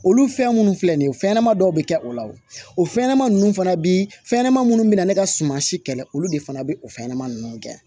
Olu fɛn minnu filɛ nin ye fɛnɲɛnɛma dɔw bɛ kɛ o la o fɛnɲɛnɛma ninnu fana bi fɛn ɲɛnɛma minnu bɛ na ne ka suma si kɛlɛ olu de fana bɛ o fɛn ɲɛnama ninnu kɛ